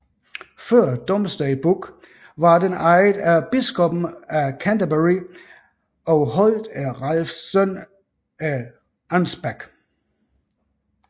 Før Domesday Book var den ejet af biskoppen af Canterbury og holdt af Ralphs søn af Unspac